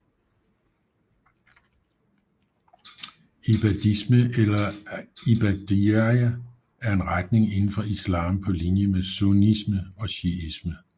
Ibadisme eller ibadiyya er en retning indenfor islam på linje med sunnisme og shiisme